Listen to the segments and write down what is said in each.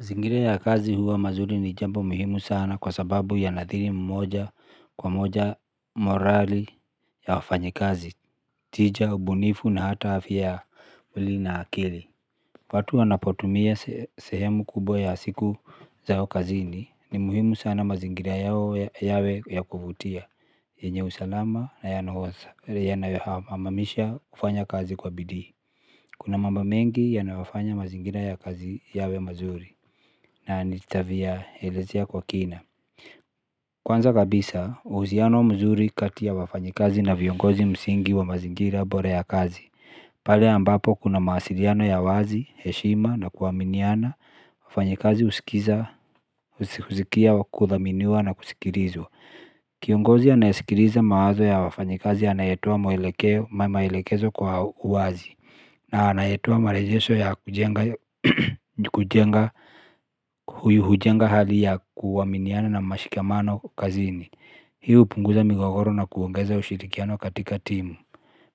Zingira ya kazi huwa mazuri ni jambo muhimu sana kwa sababu ya nadhiri mmoja kwa moja morali ya wafanyikazi, tija, ubunifu na hata afya ya mwili na akili. Watu wanapotumia sehemu kubwa ya siku zao kazini ni muhimu sana mazingira yao yawe ya kuvutia, yenye usalama na yanohosa ya nayohamamisha kufanya kazi kwa bidii. Kuna mambo mengi yanayofanya mazingira ya kazi yawe mazuri na nitavya elezea kwa kina. Kwanza kabisa, uhuziano mzuri kati ya wafanyikazi na viongozi msingi wa mazingira bora ya kazi. Pale ambapo kuna mawasiliano ya wazi, heshima na kuaminiana, wafanyikazi uskiza usikia kudhaminiwa na kusikilizwa. Kiongozi anayesikiliza mawazo ya wafanyikazi anayetoa mwelekeo maelekezo kwa uwazi na anayetoa marejesho ya kujenga huyu hujenga hali ya kuaminiana na mashikamano kazini. Hii hu punguza migogoro na kuongeza ushirikiano katika timu.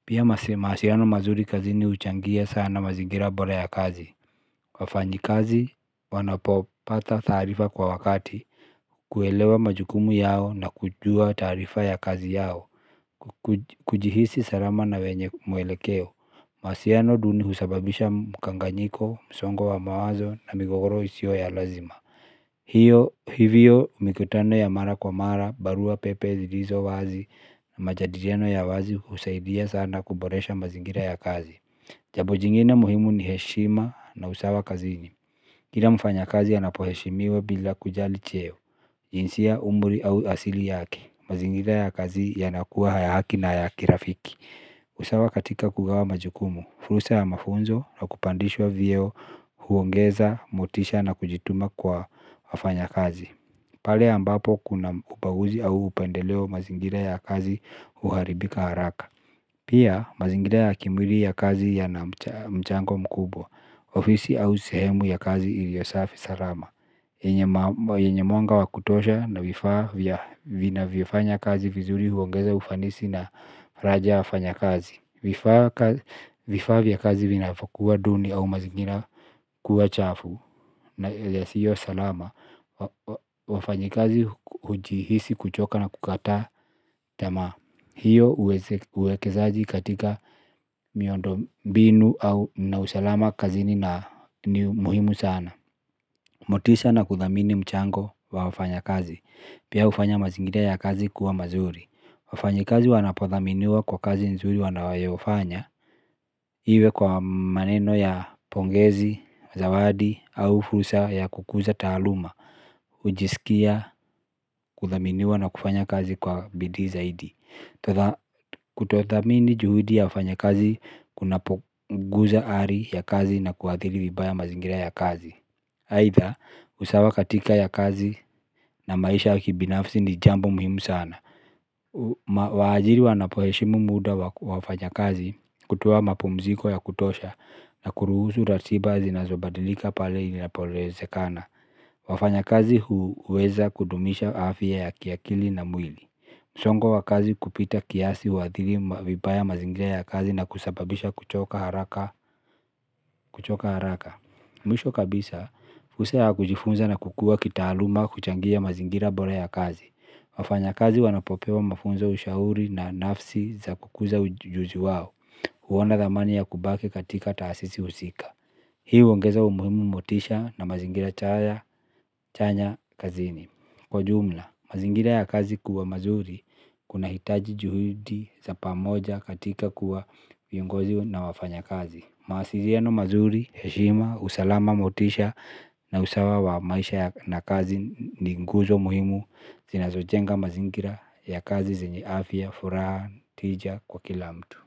Pia mawasiliano mazuri kazini uchangia sana mazingira bora ya kazi wa fanyi kazi wanapopata taarifa kwa wakati. Kuelewa majukumu yao na kujua taarifa ya kazi yao. Kujihisi salama na wenye mwelekeo. Mahusiano duni husababisha mukanganyiko, msongo wa mawazo na migogoro isiyo ya lazima. Hivyo mikutano ya mara kwa mara, barua pepe zilizo wazi na majadiriano ya wazi husaidia sana kuboresha mazingira ya kazi. Jambo jingine muhimu ni heshima na usawa kazini. Kila mfanya kazi anapoheshimiwa bila kujali cheo, jinsia umri au asili yake. Mazingira ya kazi yanakuwa ya haki na ya kira fiki. Usawa katika kugawa majukumu, fursa ya mafunzo na kupandishwa vyeo huongeza, motisha na kujituma kwa wafanya kazi. Pale ambapo kuna upaguzi au upendeleo mazingira ya kazi uharibika haraka. Pia mazingira ya kimwili ya kazi ya na mchango mkubwa, ofisi au sehemu ya kazi iliyosafi salama yenye mwanga wakutosha na vifaa vya vinavyofanya kazi vizuri huongeza ufanisi na faraja ya wafanya kazi. Vifaa vya kazi vinavokuwa duni au mazingira kuwa chafu na yasiyo salama. Wafanyi kazi hujihisi kuchoka na kukataa tamaa. Hiyo uwekezaji katika miondo mbinu au na usalama kazi na ni muhimu sana. Motisha na kuthamini mchango wa wafanya kazi. Pia ufanya mazingira ya kazi kuwa mazuri. Wafanyi kazi wanapothaminiwa kwa kazi nzuri wanayofanya. Iwe kwa maneno ya pongezi, zawadi, au fursa ya kukuza taaluma. Ujisikia kuthaminiwa na kufanya kazi kwa bidii zaidi. Kutothamini juhudi ya wafanya kazi kuna poguza hali ya kazi na kuathiri vibaya mazingira ya kazi aidha usawa katika ya kazi na maisha ya kibinafsi ni jambo muhimu sana. Waajiri wanapoheshimu muda wa wafanya kazi kutoa mapumziko ya kutosha na kuruhusu ratiba zinazobadilika pale inapoleze kana wafanya kazi huweza kudumisha afya ya kiakili na mwili. Songo wa kazi kupita kiasi huathiri vibaya mazingira ya kazi na kusababisha kuchoka haraka. Kuchoka haraka mwisho kabisa fursa ya kujifunza na kukua kitaaluma huchangia mazingira bora ya kazi wafanya kazi wanapopewa mafunzo ushauri na nafsi za kukuza ujuzi wao. Huona dhamani ya kubaki katika taasisi husika. Hii huongeza umuhimu motisha na mazingira chaya chanya kazini. Kwa jumla mazingira ya kazi kuwa mazuri kuna hitaji juhudi za pamoja katika kuwa viongozi na wafanya kazi. Mawasiliano mazuri, heshima, usalama motisha na usawa wa maisha na kazi ni nguzo muhimu. Zina zojenga mazingira ya kazi zenye afya, furaha, tija kwa kila mtu.